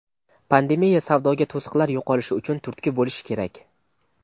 pandemiya savdoga to‘siqlar yo‘qolishi uchun turtki bo‘lishi kerak.